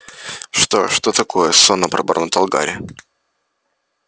что что такое сонно пробормотал гарри